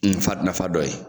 Nafa nafa dɔ ye